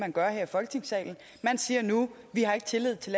man gør her i folketingssalen man siger nu vi har ikke tillid til